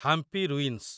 Hampi ruins